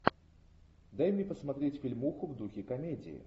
дай мне посмотреть фильмуху в духе комедии